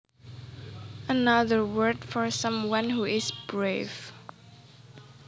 Another word for someone who is brave